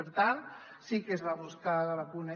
per tant sí que es va buscar de vacunar